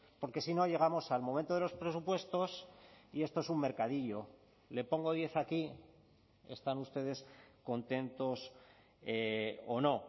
porque si no llegamos al momento de los presupuestos y esto es un mercadillo le pongo diez aquí están ustedes contentos o no